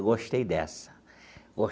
Eu gostei dessa.